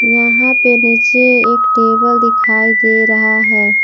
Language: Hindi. यहां पे नीचे एक टेबल दिखाई दे रहा है।